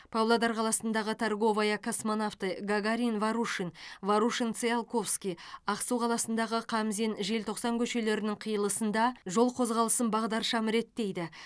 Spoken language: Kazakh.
павлодар қаласындағы торговая космонавты гагарин ворушин ворушин циолковский ақсу қаласындағы қамзин желтоқсан көшелерінің қиылысында жол қозғалысын бағдаршам реттейді